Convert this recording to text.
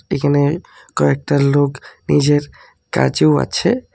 এখানে কয়েকটা লোক নিজের কাজেও আছে।